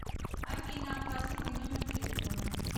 афина оплати мой номер телефона